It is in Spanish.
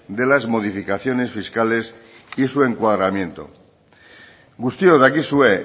de las modificaciones fiscales y su encuadramiento guztiok dakizue